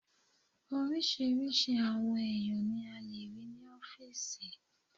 Oríṣiríṣi àwọn èèyàn ní a lè rí ní ọ́fìsì